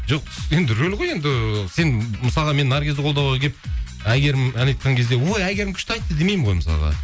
жоқ енді рөл ғой енді сен мысалға мен наргизді қолдауға келіп әйгерім ән айтқан кезде ой әйгерім күшті айтты демеймін ғой мысалға